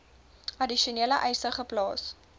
addisionele eise geplaas